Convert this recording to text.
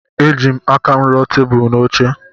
Ejim aka m ruo tebụl na oche.